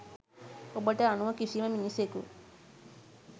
ඔබට අනුව කිසිම මිනිසෙකු